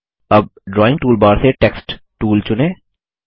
अब drawing toolbar से text tool चुनें